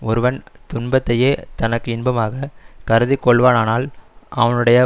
ஒருவன் துன்பத்தையே தனக்கு இன்பமாக கருதிக்கொள்வானானால் அவனுடைய